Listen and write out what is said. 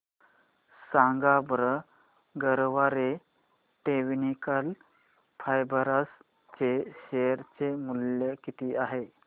सांगा बरं Garware technical fibres च्या शेअर चे मूल्य किती आहे